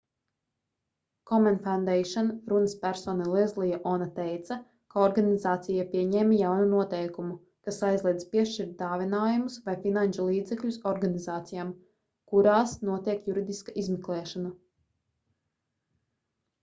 komen foundation runaspersona lezlija ona teica ka organizācija pieņēma jaunu noteikumu kas aizliedz piešķirt dāvinājumus vai finanšu līdzekļus organizācijām kurās notiek juridiska izmeklēšana